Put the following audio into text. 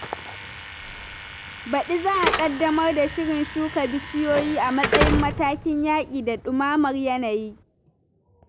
Baɗi za a ƙaddamar da shirin shuka bishiyoyi a matsayin matakin yaƙi da ɗumamar yanayi.